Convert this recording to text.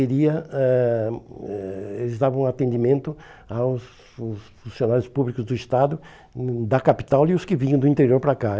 queria ãh eh... Eles davam atendimento aos fun funcionários públicos do Estado, hum da capital e os que vinham do interior para cá.